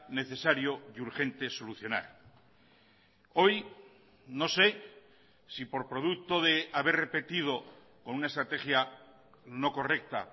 necesario y urgente solucionar hoy no sé si por producto de haber repetido con una estrategia no correcta